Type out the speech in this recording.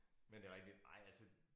Men det rigtigt nej altså